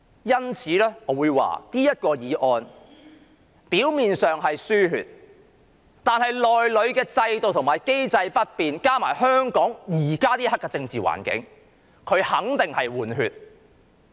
因此，我會說這項議案表面上是"輸血"，但如果制度和機制不變，加上香港現時的政治環境，這肯定是"換血"。